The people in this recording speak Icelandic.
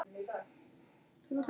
Hann hefur breyst.